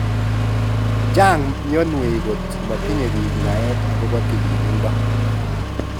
Chang mionwek kot matinye bik naet akobo tililindo